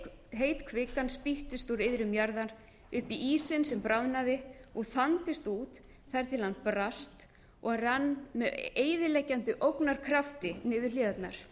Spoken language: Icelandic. heit kvikan spýttist úr iðrum jarðar upp í ísinn sem bráðnaði og þandist út þar til hann brast og rann með eyðileggjandi ógnarkrafti niður hlíðarnar